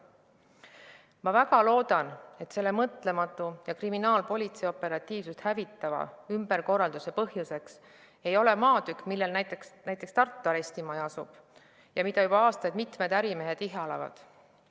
Ma väga loodan, et selle mõtlematu ja kriminaalpolitsei operatiivsust hävitava ümberkorralduse põhjuseks ei ole maatükk, millel asub Tartu arestimaja ja mida juba aastaid mitmed ärimehed ihalevad.